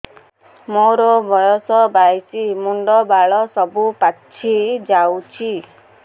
ମୋର ବୟସ ବାଇଶି ମୁଣ୍ଡ ବାଳ ସବୁ ପାଛି ଯାଉଛି